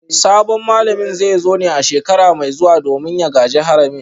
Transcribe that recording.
Sabon malamin zai zo ne a shekara mai zuwa domin ya gaji haramin